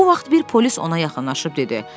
Bu vaxt bir polis ona yaxınlaşıb dedi: